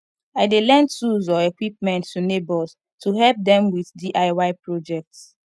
i dey lend tools or equipment to neighbors to help dem with diy projects